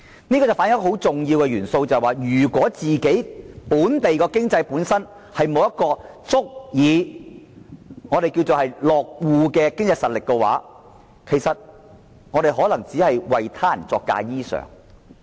這反映了如果本地經濟本身沒有足以落戶的經濟實力，其實只能為他人作嫁衣裳。